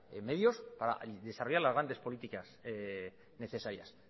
los medios para desarrollar las grandes políticas necesarias